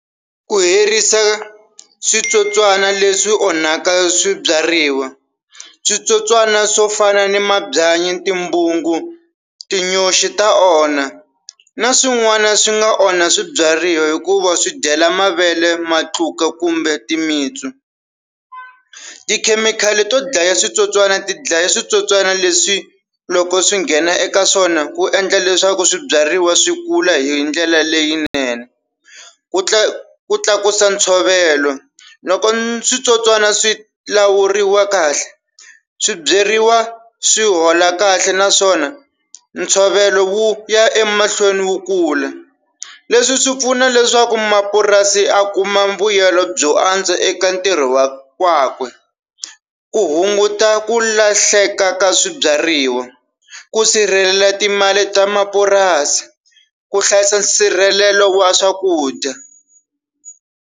Ku herisa switsotswana leswi onhaka swibyariwa, switsotswana swo fana ni mabyanyi, timbungu, tinyoxi ta onha. Na swin'wana swi nga onha swibyariwa hikuva swi dyela mavele, matluka kumbe timitsu. Tikhemikhali to dlaya switsotswana ti dlaya switsotswani leswi loko swi nghena eka swona, ku endla leswaku swibyariwa swi kula hi ndlela leyinene. Ku ku tlakusa ntshovelo, loko switsotswana swi lawuriwa kahle swi byeriwa swi hola kahle naswona ntshovelo wu ya emahlweni wu kula leswi swi pfuna leswaku mapurasi ya kuma mbuyelo byo antswa eka ntirho wa wakwe. Ku hunguta ku lahleka ka swibyariwa, ku sirhelela timali ta mapurasi, ku hlayisa nsirhelelo wa swakudya.